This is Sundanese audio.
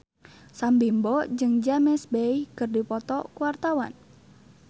Sam Bimbo jeung James Bay keur dipoto ku wartawan